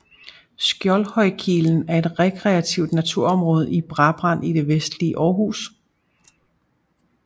Skjoldhøjkilen er et rekreativt naturområde i Brabrand i det vestlige Aarhus